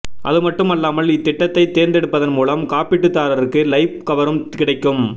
அதுமட்டும் அல்லாமல் இத்திட்டத்தைத் தேர்ந்தெடுப்பதன் மூலம் காப்பீட்டுதாரர்க்கு லைப் கவரும் கிடைக்கும்